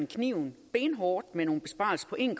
kniven benhårdt med nogle besparelser på en